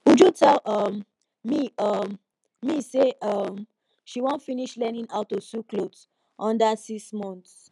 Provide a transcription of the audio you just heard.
uju tell um me um me say um she wan finish learning how to sew cloth under six month